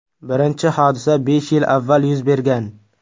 Birinchi hodisa besh yil avval yuz bergan.